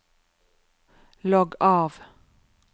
logg av